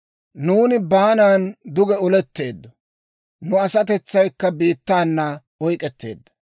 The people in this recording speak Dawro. Nuuni baanan duge oletteeddo; nu asatetsaykka biittaana oyk'k'etteedda.